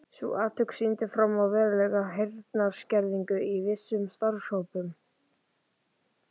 Sú athugun sýndi fram á verulega heyrnarskerðingu í vissum starfshópum.